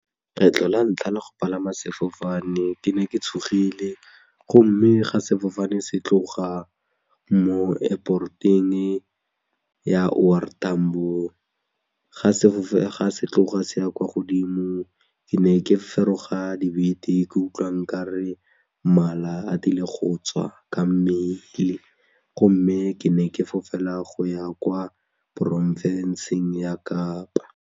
Kgetlho la ntlha la go palama sefofane ke ne ke tshogile gomme ga sefofane se tloga mo airport-eng ya O R Tambo, ga tloga se ya kwa godimo ke ne ke feroga dibete ke utlwa nkare mala a tile go tswa ka mmele gomme ke ne ke fofela go ya kwa porofenseng ya Kapa.